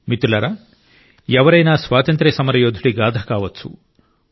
మిత్రులారా ఎవరైనా స్వాతంత్ర్య సమరయోధుడి గాథ కావచ్చు